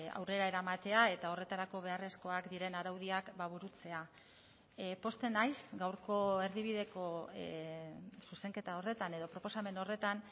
aurrera eramatea eta horretarako beharrezkoak diren araudiak burutzea pozten naiz gaurko erdibideko zuzenketa horretan edo proposamen horretan